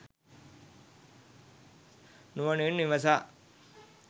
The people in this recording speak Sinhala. නුවණින් විමසා